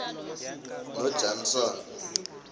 nojanson